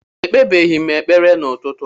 Ekpebeghị m ekpere n'ụtụtụ a